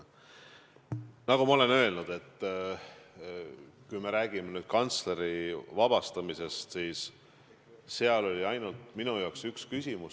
Nagu ma olen öelnud, kui jutt on kantsleri vabastamisest, siis seal oli minu jaoks ainult üks küsimus.